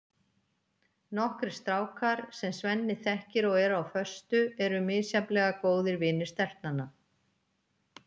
Nokkrir strákar, sem Svenni þekkir og eru á föstu, eru misjafnlega góðir vinir stelpnanna.